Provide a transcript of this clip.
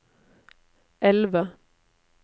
elve